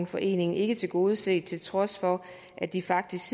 forening ikke tilgodeset til trods for at de faktisk